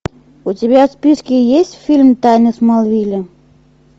у тебя в списке есть фильм тайны смолвиля